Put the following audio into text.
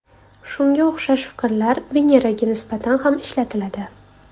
Shunga o‘xshash fikrlar Veneraga nisbatan ham ishlatiladi.